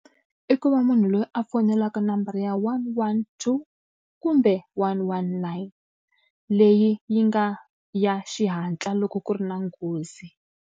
I ku va munhu loyi a fonelaka number ya one one two, kumbe one one nine, leyi yi nga ya xihatla loko ku ri na nghozi.